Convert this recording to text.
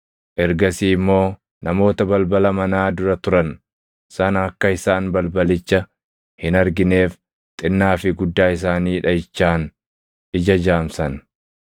Ergasii immoo namoota balbala manaa dura turan sana akka isaan balbalicha hin argineef xinnaa fi guddaa isaanii dhaʼichaan ija jaamsan.